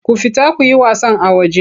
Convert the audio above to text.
Ku fita ku yi wasan a waje!